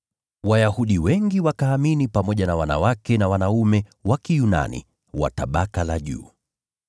Wayahudi wengi wakaamini pamoja na wanawake na wanaume wa Kiyunani wa tabaka la juu.